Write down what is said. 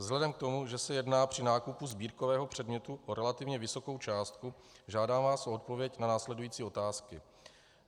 Vzhledem k tomu, že se jedná při nákupu sbírkového předmětu o relativně vysokou částku, žádám vás o odpověď na následující otázky.